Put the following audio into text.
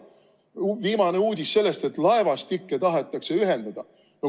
Viimane uudis oli selle kohta, et laevastikke tahetakse ühendada.